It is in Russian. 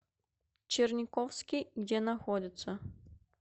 черниковский где находится